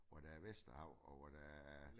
Hvor der er Vesterhav og hvor der er